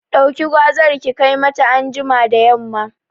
Ɗauki gwazar ki kai mata anjima da yamma